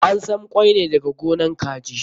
An sam ƙwan ne daga gonan kaji.